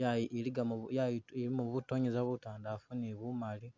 yayi ilikamo butonyeza butandalafu ne bumali.